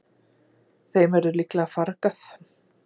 Þeim verður líklega fargað.